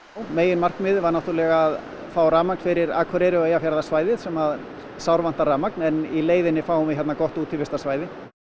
megin markmiðið var náttúrulega að fá rafmagn fyrir Akureyri og Eyjafjarðarsvæðið sem sárvantar rafmagn en í leiðinni fáum við gott útivistarsvæði